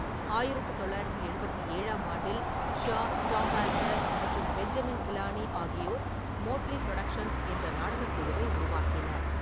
ஆயிரத்து தொள்ளாயிரத்து எழுபத்தி ஏழாம் ஆண்டில், ஷா, டாம் ஆல்டர் மற்றும் பெஞ்சமின் கிலானி ஆகியோர் மோட்லி புரொடக்ஷன்ஸ் என்ற நாடகக் குழுவை உருவாக்கினர்.